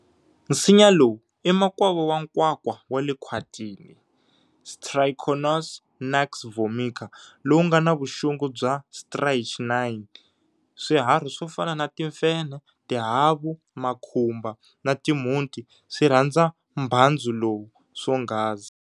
Nsinya lowu i makwavo wa Nkwakwa wale khwatini, "Strychnos nuxvomica,", lowu ngana vuxungu bya strychnine. Swiharhi swo fana na timfenhe, tihavu, makhumba na timhunti swi rhandza mbhandzu lowu swonghasi.